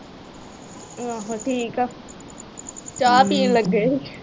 ਠੀਕ ਆ। ਚਾਹ ਪੀਣ ਲੱਗੇ ਸੀ।